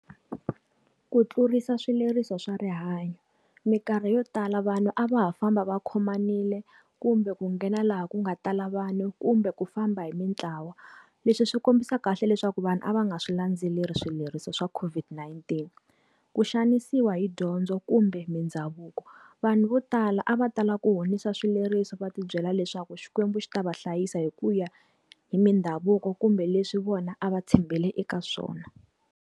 Ku tlurisa swileriso swa rihanyo. Minkarhi yo tala vanhu a va ha famba va khomanile, kumbe ku nghena laha ku nga tala vanhu kumbe ku famba hi mintlawa. Leswi swi kombisa kahle leswaku vanhu a va nga swi landzeleri swileriso swa COVID-19. Ku xanisiwa hi dyondzo kumbe mindhavuko. Vanhu vo tala a va tala ku honisa swileriso va ti byela leswaku Xikwembu xi ta va hlayisa hi ku ya hi mindhavuko kumbe leswi vona a va tshembele eka swona.